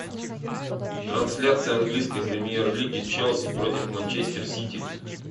трансляция английской премьер лиги челси против манчестер сити